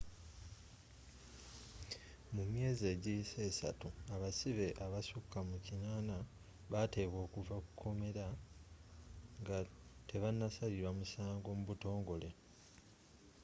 mu myezi egiyise 3 abasibe abasukka mu 80 baateebwa okuva mu kkomera nga tebanasalirwa misango mu butongole